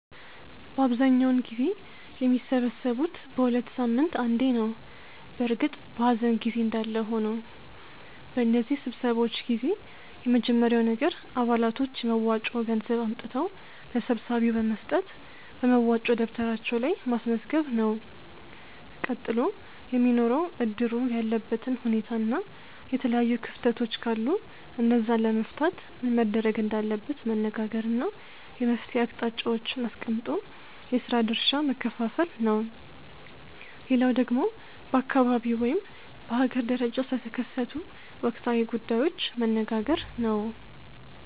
በአብዛኛውን ጊዜ የሚሰበሰቡት በ ሁለት ሳምንት አንዴ ነው በእርግጥ በኀዘን ጊዜ እንዳለ ሆኖ። በነዚህ ስብሰባዎች ጊዜ የመጀመርያው ነገር አባላቶች የመዋጮ ገንዘብ አምጥተው ለሰብሳቢው በመስጠት በመዋጮ ደብተራቸው ላይ ማስመዝገብ ነው። ቀጥሎ የሚኖረው እድሩ ያለበትን ሁኔታና የተለያዩ ክፍተቶች ካሉ እነዛን ለመፍታት ምን መደረግ እንዳለበት መነጋገር እና የመፍትሔ አቅጣጫዎችን አስቀምጦ የስራ ድርሻ መከፋፈል ነው። ሌላው ደግሞ በአካባቢው ወይም በሀገር ደረጃ ስለተከሰቱ ወቅታዊ ጉዳዮች መነጋገር ነው።